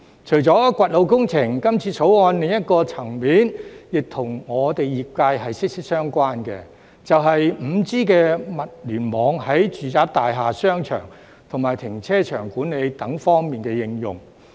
除了掘路工程，今次《條例草案》另一個層面，亦跟我們業界息息相關，便是 5G 物聯網在住宅大廈、商場和停車場管理等方面的應用。